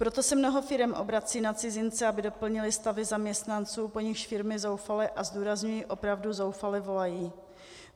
Proto se mnoho firem obrací na cizince, aby doplnili stavy zaměstnanců, po nichž firmy zoufale, a zdůrazňuji, opravdu zoufale volají.